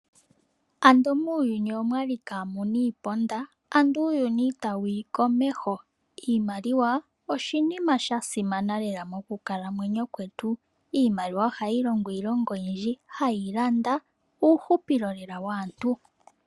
Ando muuyuni okwali kaa muna iiponda, ando uuyuni ita wuyi komeho. Iimaliwa oshinima sha simana lela moku kalamwenyo kwetu. Iimaliwa ohayi longo iilonga oyindji, hayi landa uuhupilo lela waantu.